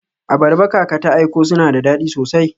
Abarba kaka ta aiko suna da dadi sosai.